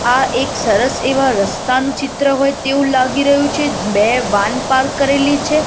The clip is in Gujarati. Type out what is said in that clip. આ એક સરસ એવા રસ્તાનુ ચિત્ર હોય તેવુ લાગી રહ્યુ છે બે વાન પાર્ક કરેલી છે.